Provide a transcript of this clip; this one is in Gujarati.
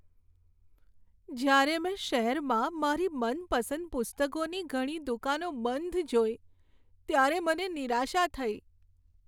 જ્યારે મેં શહેરમાં મારી મનપસંદ પુસ્તકોની ઘણી દુકાનો બંધ જોઈ, ત્યારે મને નિરાશા થઈ.